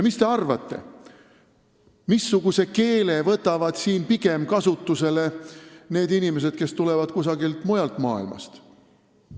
Mis te arvate, missuguse keele võtavad siin kasutusele inimesed, kes tulevad kusagilt mujalt maailmast?